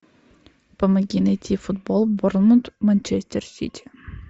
помоги найти футбол борнмут манчестер сити